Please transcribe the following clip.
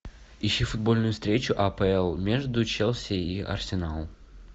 ищи футбольную встречу апл между челси и арсеналом